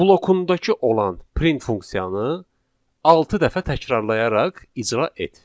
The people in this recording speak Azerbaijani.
blokundakı olan print funksiyanı altı dəfə təkrarlayaraq icra et.